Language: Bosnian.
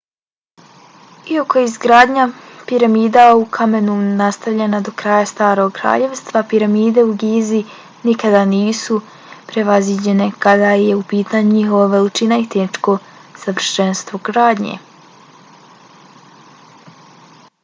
iako je izgradnja piramida u kamenu nastavljena do kraja starog kraljevstva piramide u gizi nikada nisu prevaziđene kada je u pitanju njihova veličina i tehničko savršenstvo gradnje